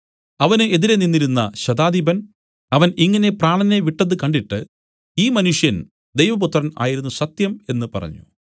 അവന് എതിരെ നിന്നിരുന്ന ശതാധിപൻ അവൻ ഇങ്ങനെ പ്രാണനെ വിട്ടതു കണ്ടിട്ട് ഈ മനുഷ്യൻ ദൈവപുത്രൻ ആയിരുന്നു സത്യം എന്നു പറഞ്ഞു